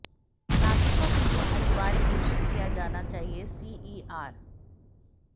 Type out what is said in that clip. नागरिकों के लिए अनिवार्य घोषित किया जाना चाहिए सीईआर